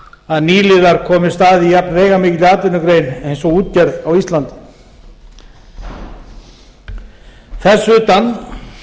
að nýliðar komist að í jafnveigamikilli atvinnugrein eins og útgerð á íslandi þess utan